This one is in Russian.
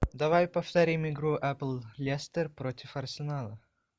давай повторим игру апл лестер против арсенала